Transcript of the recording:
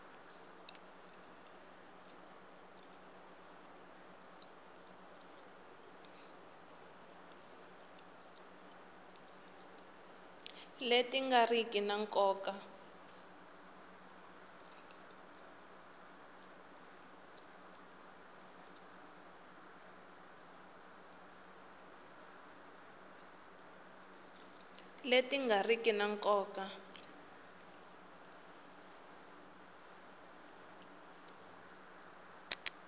leti nga riki ta nkoka